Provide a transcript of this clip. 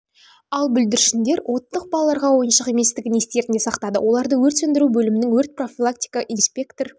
ал бүлдіршіндер оттық балаларға ойыншық еместігін естерінде сақтады оларды өрт сөндіру бөлімінің өрт профилактика инспектор